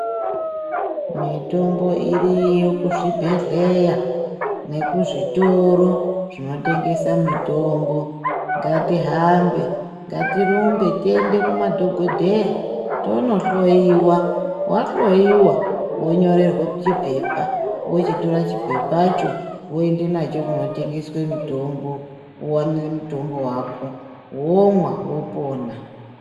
Mitombo iriyo kuzvibhedhleya nekuzvitoro zvinotengesa mitombo, ngatihambe, ngatirumbe tiende kumadhokodheya tonohloyiwa wahloyiwa wonyorerwa chipepa wochitora chipepacho woenda nacho kunotengeswa mitombo wowane mutombo wako womwa wopona.